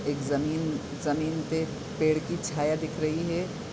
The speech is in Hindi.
एक ज़मीन ज़मीन पे पेड़ की छाया दिख रही है।